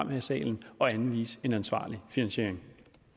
her i salen at anvise en ansvarlig finansiering